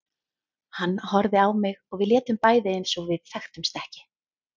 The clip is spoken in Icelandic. Hann horfði á mig og við létum bæði eins og við þekktumst ekki.